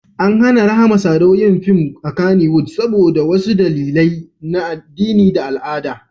An hana Rahama Sadau yin fim a Kannywood saboda wasu dalilai na addini da al'ada.